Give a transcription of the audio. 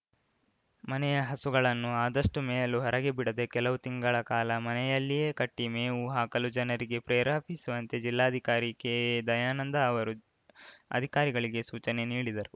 ಮನೆಯ ಹಸುಗಳನ್ನು ಆದಷ್ಟುಮೇಯಲು ಹೊರಗೆ ಬಿಡದೆ ಕೆಲವು ತಿಂಗಳ ಕಾಲ ಮನೆಯಲ್ಲಿಯೇ ಕಟ್ಟಿಮೇವು ಹಾಕಲು ಜನರಿಗೆ ಪ್ರೇರೇಪಿಸುವಂತೆ ಜಿಲ್ಲಾಧಿಕಾರಿ ಕೆಎ ದಯಾನಂದ ಅವರು ಅಧಿಕಾರಿಗಳಿಗೆ ಸೂಚನೆ ನೀಡಿದರು